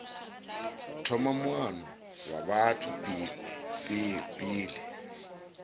thoma muano wa batho pele